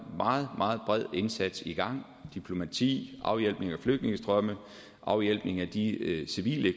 meget meget bred indsats i gang diplomati afhjælpning af flygtningestrømme afhjælpning af de civile